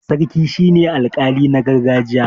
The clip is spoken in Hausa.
sarki shi ne alƙali na gargajiya